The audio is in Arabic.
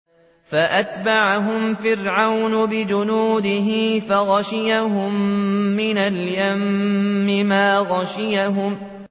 فَأَتْبَعَهُمْ فِرْعَوْنُ بِجُنُودِهِ فَغَشِيَهُم مِّنَ الْيَمِّ مَا غَشِيَهُمْ